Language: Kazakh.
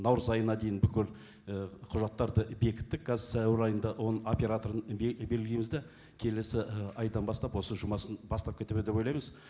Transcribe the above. наурыз айына дейін бүкіл і құжаттарды бекіттік қазір сәуір айында оның операторын белгілейміз де келесі і айдан бастап осы жұмысын бастап кетеді ме деп ойлаймыз